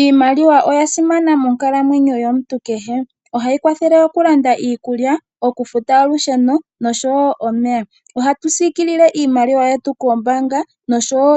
Iimaliwa oya simana monkalamwenyo yomuntu kehe. Ohayi kwathele okulanda iikulya, olusheno noshowo okufuta omeya. Ohatu siikilile iimaliwa yetu koombaanga oshowo